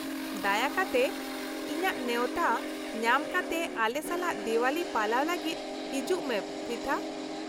-ᱫᱟᱭᱟ ᱠᱟᱛᱮ, ᱤᱧᱟᱹᱜ ᱱᱮᱶᱛᱟ ᱧᱟᱢ ᱠᱟᱛᱮ ᱟᱞᱮ ᱥᱟᱞᱟᱜ ᱫᱮᱣᱟᱞᱤ ᱯᱟᱞᱟᱣ ᱞᱟᱹᱜᱤᱫ ᱦᱤᱡᱩᱜ ᱢᱮ ᱯᱨᱤᱛᱷᱟ ᱾